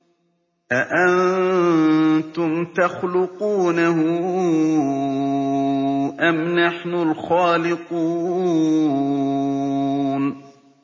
أَأَنتُمْ تَخْلُقُونَهُ أَمْ نَحْنُ الْخَالِقُونَ